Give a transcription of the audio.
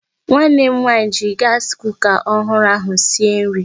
Nwanne m nwaanyị ji gaasi kuka ọhụrụ ahụ esi nri.